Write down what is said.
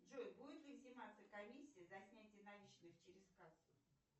джой будет ли сниматься комиссия за снятие наличных через кассу